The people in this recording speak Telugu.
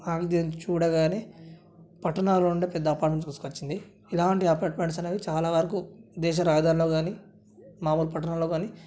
చూడగానే పట్టణాల్లో ఉండే పెద్ద అపార్ట్మెంట్ గుర్తొచ్చింది ఇలాంటి అపార్ట్మెంట్స్ అనేవి చాలవరకు దేశ రహదారుల్లో గాని మామోలు పట్టణాల్లో గాని --